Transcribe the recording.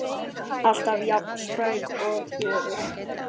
Alltaf jafn spræk og fjörug.